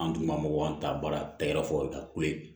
An dun ka mɔgɔw an ta baara tɛgɛrɛ fɔ ka kule